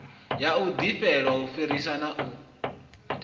ya ḓivhelwa u fhisa na